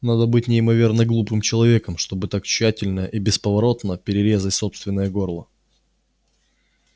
надо быть неимоверно глупым человеком чтобы так тщательно и бесповоротно перерезать собственное горло